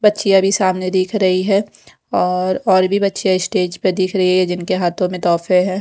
बच्चियां भी सामने दिख रही हैं और और भी बच्चियां स्टेज पर दिख रही है जिनके हाथों में तोहफे है।